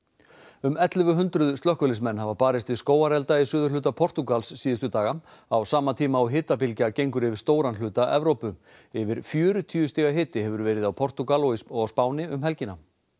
um ellefu hundruð slökkviliðsmenn hafa barist við skógarelda í suðurhluta Portúgals síðustu daga á sama tíma og hitabylgja gengur yfir stóran hluta Evrópu yfir fjörtíu stiga hiti hefur verið í Portúgal og á Spáni um helgina